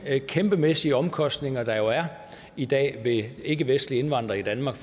kæmpemæssige omkostninger der er i dag ved ikkevestlige indvandrere i danmark